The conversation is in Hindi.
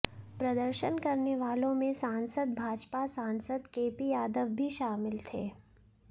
प्रदर्शन करने वालों में सांसद भाजपा सांसद केपी यादव भी शामिल थे